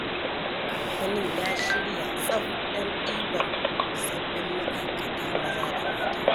Kamfanin ya shirya tsaf don ɗibar sabbin ma'aikata maza da mata.